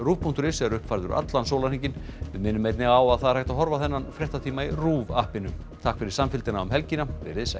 rúv punktur is er uppfærður allan sólarhringinn við minnum einnig á að hægt er að horfa á þennan fréttatíma í RÚV takk fyrir samfylgdina um helgina verið þið sæl